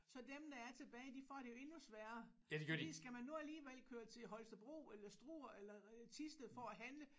Så dem der er tilbage de får det jo endnu sværere fordi skal man nu alligevel køre til Holstebro eller Struer eller Thisted for at handle